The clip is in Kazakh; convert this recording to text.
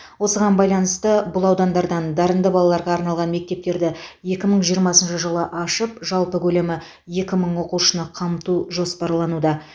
осыған байланысты бұл аудандардан дарынды балаларға арналған мектептерді екі мың жиырмасыншы жылы ашып жалпы көлемі екі мың оқушыны қамту жоспарлануда